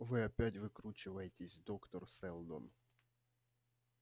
вы опять выкручиваетесь доктор сэлдон